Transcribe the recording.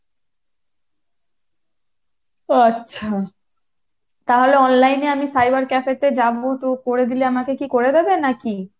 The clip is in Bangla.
ও আচ্ছা, তাহলে online এ আমি cyber cafe তে যাবো তো করে দিলে আমাকে কী করে দেবে নাকি?